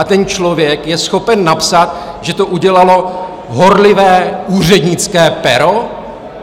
A ten člověk je schopen napsat, že to udělalo horlivé úřednické pero?